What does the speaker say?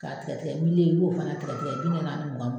K'a tigɛ tigɛ i b'o fana tigɛ tigɛ bi naani naani mugan mugan